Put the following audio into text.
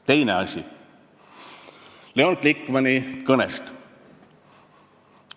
Teine asi Leon Glikmani kõnest.